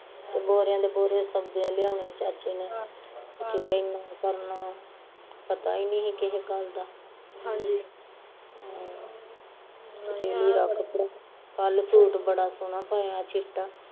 ਬੋਰਿਆ ਦੇ ਬੋਰ ਸੌਦੇ ਲਿਆਉਣੇ ਚਾਚੇ ਨੇ ਕਿਤੇ ਏਨਾਂ ਕਰਨਾ, ਫਿਕਰ ਈ ਨਹੀਂ ਸੀ ਕਿਸੇ ਗੱਲ ਦਾ ਹਮ ਕੱਲ ਸੂਟ ਬੜਾ ਸੋਹਣਾ ਪਾਇਆ ਚਿੱਟਾ